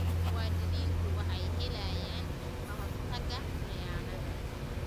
Muwaadiniintu waxay helayaan ka-hortagga khiyaanada.